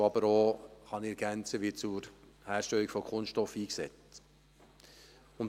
Ich kann ergänzen, dass Erdöl auch zur Herstellung von Kunststoff eingesetzt wird.